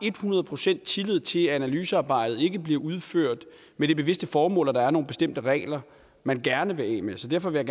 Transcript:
et hundrede procent tillid til at analysearbejdet ikke bliver udført med det bevidste formål at der er nogle bestemte regler man gerne vil af med så derfor vil